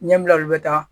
Ɲɛbila olu be taa